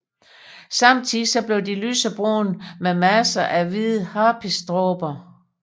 Samtidig bliver de lysebrune med masser af hvide harpiksdråber